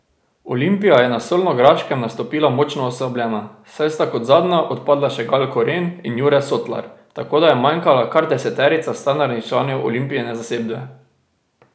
Olimpija je na Solnograškem nastopila močno oslabljena, saj sta kot zadnja odpadla še Gal Koren in Jure Sotlar, tako da je manjkala kar deseterica standardnih članov Olimpijine zasedbe.